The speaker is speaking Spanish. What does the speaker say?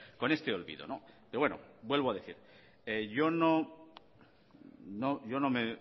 con este olvido pero bueno vuelvo a decir yo no he